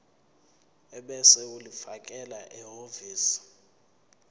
ebese ulifakela ehhovisi